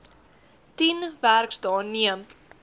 tien werksdae neem